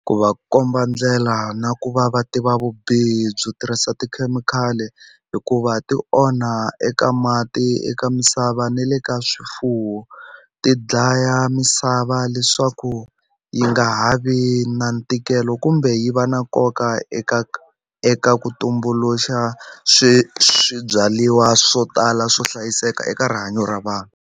Ku va komba ndlela na ku va va tiva vubihi byo tirhisa tikhemikhali hikuva ti onha eka mati eka misava ni le ka swifuwo ti dlaya misava leswaku yi nga ha vi na ntikelo kumbe yi va na nkoka eka eka ku tumbuluxa swi swibyariwa swo tala swo hlayiseka eka rihanyo ra vanhu.